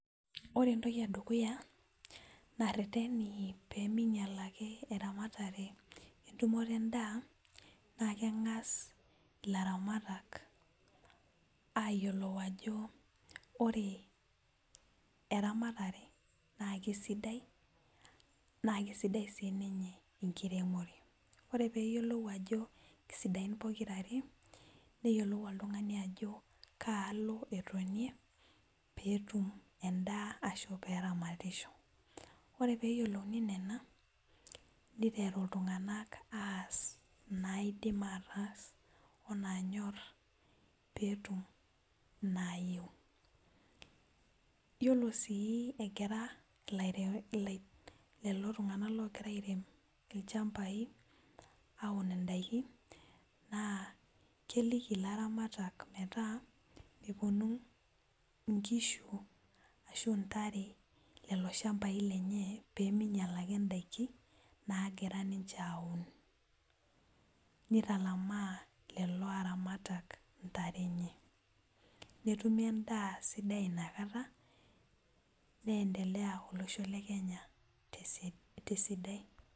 Ore entoki edukuya narreteni peminyial ake eramatare entumoto endaa naa keng'as ilaramatak ayiolou ajo ore eramatare naa kisidai naa kisidai sininye enkiremore ore peyiolou ajo kisidain pokirare neyiolou oltung'ani ajo kaalo etonie peetum endaa ashu peramatisho ore peyiolouni nena niteru iltung'anak aas inaidim ataas onaanyorr peetum nayieu yiolo sii egira ilaire ilai lelo tung'anak logira airem ilchambai aun indaiki naa keliki ilaramatak metaa meponu inkishu ashu intare lelo shambai lenye peminyial ake indaiki nagira ninche aun nitalamaa lelo aramatak intare enye netumi endaa sidai inakata nendelea olosho le kenya tese tesidai.